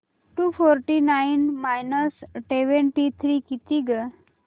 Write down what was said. to forty nine minus twenty three किती गं